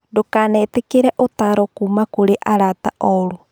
Ndũkanetĩkĩre ũtaaro kuuma kũrĩ arata oru.